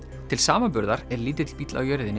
til samanburðar er lítill bíll á jörðinni